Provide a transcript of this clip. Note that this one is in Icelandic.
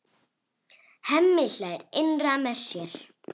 Hemmi hlær innra með sér.